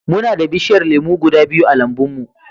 Muna da bishiyar lemu guda biyu a lambun mu.